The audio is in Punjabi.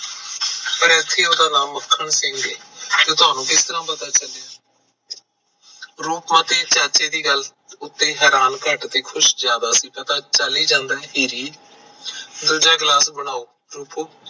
ਪਰ ਇੱਥੇ ਉਦਾ ਨਾਮ ਮੱਖਣ ਸਿੰਘ ਐ ਪਰ ਤੁਹਾਨੂੰ ਕਿਵੇਂ ਪਤਾ ਚੱਲਿਆ ਪਤਾ ਰੂਪਮਤੀ ਚਾਚੇ ਦੀ ਗੱਲ ਤੇ ਹੈਰਾਨ ਘੱਟ ਤੇ ਖੁਸ਼ ਜਿਆਦਾ ਸੀ ਪਤਾ ਚੱਲ ਹੀ ਜਾਂਦਾ ਹੈ ਦੂਜਾ ਗਿਲਾਸ ਬਣਾਓ